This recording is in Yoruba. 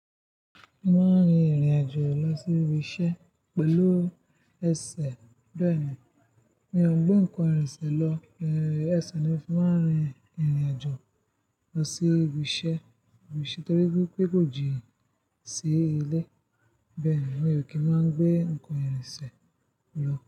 Mo máa ń rin ìrìn àjò lọ sí ibi iṣẹ́ pẹ̀lú ẹsẹ̀ beeni. Mi ò ń gbé nǹkan ìrìnsẹ̀ lọ, ẹ́ ẹsẹ̀ ni mo fi máa ń rin ìrìn àjò lọ sí ibi iṣẹ́, torí pé kò jí sí ilé. Bẹ́ẹ̀ni, mi ò kí ń máa gbé nǹkan ìrìnsẹ̀ lọ.